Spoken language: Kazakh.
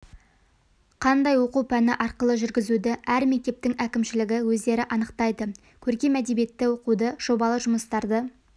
қандай оқу пәні арқылы жүргізуді әр мектептің әкімшілігі өздері анықтайды көркем әдебиетті оқуды жобалы жұмыстарды